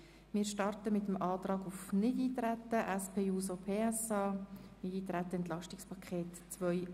Wir beginnen mit dem Antrag SP-JUSO-PSA auf Nichteintreten auf das EP 2018.